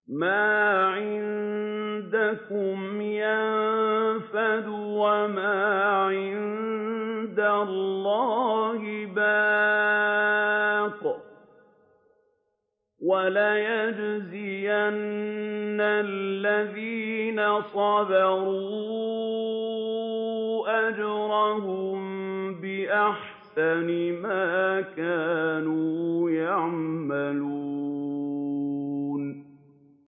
مَا عِندَكُمْ يَنفَدُ ۖ وَمَا عِندَ اللَّهِ بَاقٍ ۗ وَلَنَجْزِيَنَّ الَّذِينَ صَبَرُوا أَجْرَهُم بِأَحْسَنِ مَا كَانُوا يَعْمَلُونَ